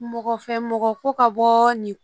Mɔgɔ fɛ mɔgɔ ko ka bɔ nin